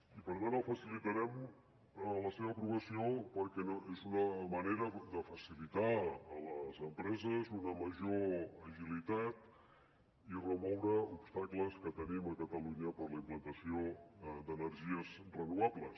i per tant facilitarem la seva aprovació perquè és una manera de facilitar a les empreses una major agilitat i remoure obstacles que tenim a catalunya per a la implantació d’energies renovables